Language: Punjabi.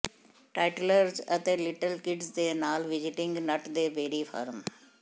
ਟਾਈਟਲਰਜ਼ ਅਤੇ ਲਿਟ੍ਲ ਕਿਡਜ਼ ਦੇ ਨਾਲ ਵਿਜ਼ਿਟਿੰਗ ਨੱਟ ਦੇ ਬੇਰੀ ਫਾਰਮ